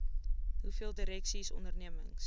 hoeveel direksies ondernemings